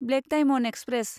black diamond express